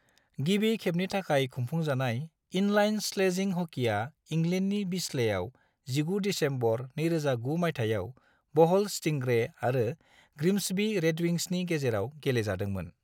गिबि खेबनि थाखाय खुंफुंजानाय इनलाइन स्लेजिं हकीया इंलेन्डनि बिस्लेआव 19 दिसेम्बर 2009 मायथाइयाव बहल स्टिंग्रे आरो ग्रिम्सबी रेडविंग्सनि गेजेराव गेलेजादोंमोन।